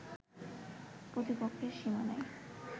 প্রতিপক্ষের সীমানায়